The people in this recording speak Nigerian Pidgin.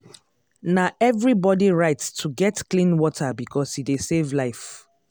na everybody right to get clean water because e dey save life.